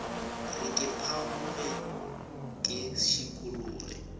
re ke phamoge ke šikologe